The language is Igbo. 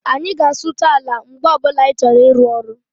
Anyị ga-asụcha ala mgbe ọbula anyị chọrọ ịru ọrụ